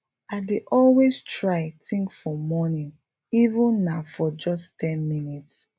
i dey always try think for morning even na for just ten minutes